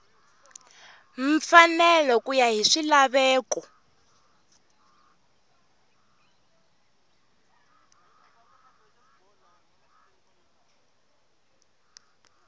mfanelo ku ya hi swilaveko